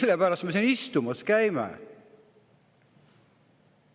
Mille pärast me siin istumas käime?